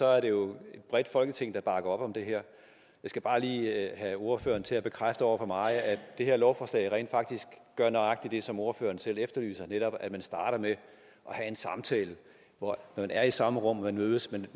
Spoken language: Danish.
er det jo et bredt folketing der bakker op om det her jeg skal bare lige have ordføreren til at bekræfte over for mig at det her lovforslag rent faktisk gør nøjagtig det som ordføreren selv efterlyser netop at man starter med at have en samtale hvor man er i samme rum og mødes man